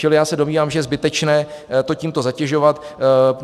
Čili já se domnívám, že je zbytečné to tímto zatěžovat.